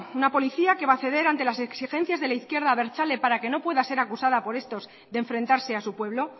una policía que va a ceder ante las exigencias de la izquierda abertzale para que no pueda ser acusada por estos de enfrentarse a su pueblo